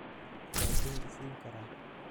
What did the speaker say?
Yaa deyn i siin kara.?